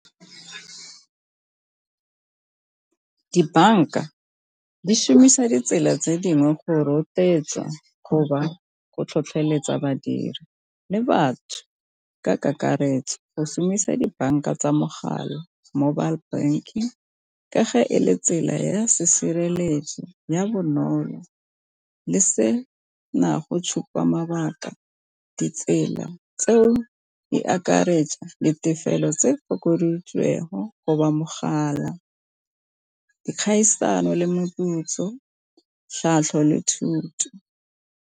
Dibanka di šomisa ditsela tse dingwe go rotloetsa go tlhotlheletsa badiri le batho ka kakaretso go šomisa dibanka tsa mogala mobile banking, ka ge e le tsela ya sesireletso ya bonolo le se na go tshupa mabaka ditsela tseo di akaretsa le tefelo tse fokoditsweng mogala dikgaisano le moputso tlhatlho le thuto.